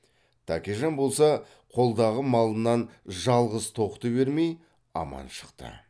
тәкежан болса қолдағы малынан жалғыз тоқты бермей аман шықты